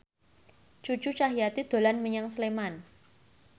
Cucu Cahyati dolan menyang Sleman